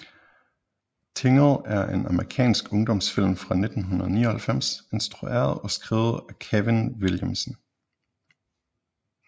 Tingle er en amerikansk ungdomsfilm fra 1999 instrueret og skrevet af Kevin Williamson